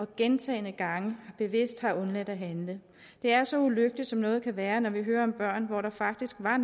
gentagne gange bevidst har undladt at handle det er så ulykkeligt som noget kan være når vi hører om børn hvor der faktisk var